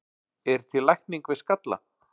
Er til lækning við skalla?